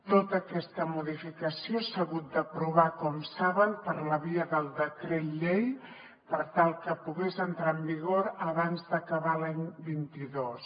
tota aquesta modificació s’ha hagut d’aprovar com saben per la via del decret llei per tal que pogués entrar en vigor abans d’acabar l’any vint dos